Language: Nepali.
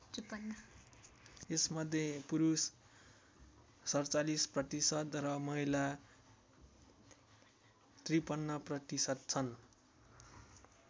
यसमध्ये पुरुष ४७% र महिला ५३% छन्।